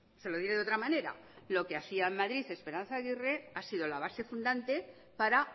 se lo diré de otra manera lo que hacía en madrid esperanza aguirre ha sido la base fundante para